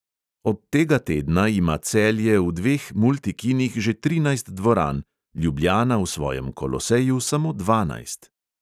Od tega tedna ima celje v dveh multikinih že trinajst dvoran, ljubljana v svojem koloseju samo dvanajst.